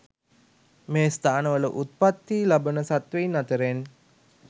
මේ ස්ථානවල උප්පත්ති ලබන සත්වයින් අතරෙන්